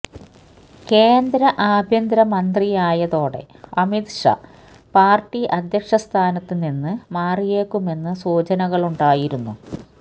കേന്ദ്ര ആഭ്യന്തര മന്ത്രിയായതോടെ അമിത് ഷാ പാര്ട്ടി അധ്യക്ഷ സ്ഥാനത്ത് നിന്ന് മാറിയേക്കുമെന്ന് സൂചനകളുണ്ടായിരുന്നു